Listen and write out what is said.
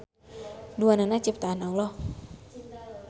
Duanana ciptaan Alloh.